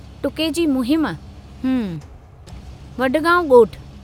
टुके जी मुहिम, हम्म, वडगांव ॻोठु।